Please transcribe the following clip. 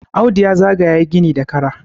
Audu ya zaga ye gini da Kara